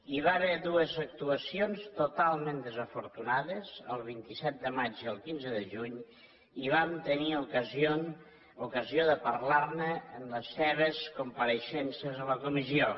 hi va haver dues actuacions totalment desafortunades el vint set de maig i el quinze de juny i vam tenir ocasió de parlar ne en les seves compareixences a la comissió